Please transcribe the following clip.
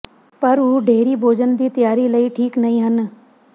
ਪਰ ਉਹ ਡੇਅਰੀ ਭੋਜਨ ਦੀ ਤਿਆਰੀ ਲਈ ਠੀਕ ਨਹੀ ਹਨ